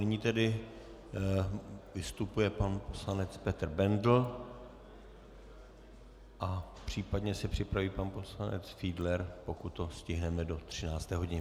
Nyní tedy vystupuje pan poslanec Petr Bendl a případně se připraví pan poslanec Fiedler, pokud to stihneme do 13. hodiny.